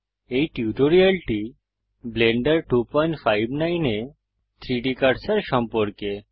এই টিউটোরিয়ালটি ব্লেন্ডার 259 এ 3ডি কার্সার সম্পর্কে